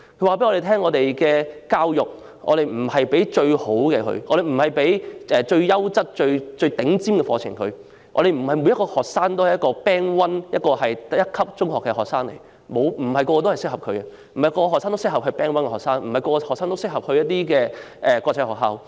他們指出，教育不是要向學生提供最優質或最頂尖的課程，因為不是每個學生都是第一組別中學的學生、不是每個學生都適合做 Band One 中學的學生，也不是每個學生都適合入讀國際學校。